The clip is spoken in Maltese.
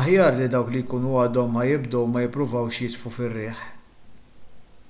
aħjar li dawk li jkunu għadhom ħa jibdew ma jippruvawx jitfgħu fir-riħ